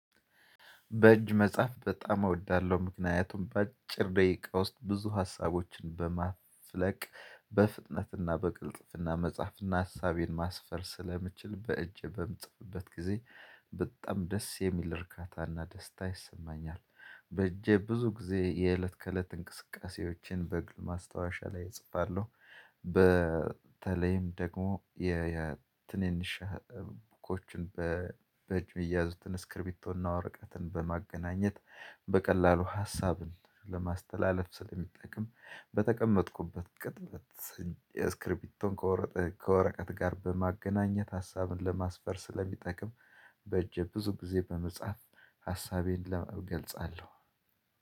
በእጅ መጻፍ በጣም እወዳለሁ። ምክንያቱም በአጭር ደቂቃ ውስጥ ብዙ ሀሳቦችን በማፍለቅ በፍጥነትና በቅልጥፍና መጻፍና ሀሳቤን ማስፈር ስለምችል በእጅ በምጽፍበት ጊዜ በጣም ደስ የሚል እርካታና ደስታ ይሰማኛል። በእጄ ብዙ ጊዜ የእለት ከእለት እንቅስቃሴዎችን በግል ማስታወሻ ላይ እጽፋለሁ። በተለይም ደግሞ የትንንሽ ኖትቡኮችን በእጅ የሚያዙትንን ስክሪቢቶና ወረቀትን በማገናኘት በቀላሉ ሀሳብን ለማስተላለፍ ስለሚጠቅም በተቀመጥኩበት ስክሪፕቶን ከወረቀት ጋር በማገናኘት ሀሳብን ለማስፈር ስለሚጠቅም በእጄ ብዙ ጊዜ በመጻፍ ሀሳቤን እገልጻለሁ።